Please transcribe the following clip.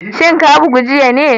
Shin ka bugu jiya ne?